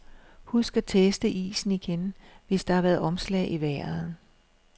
Husk at teste isen igen, hvis der har været omslag i vejret.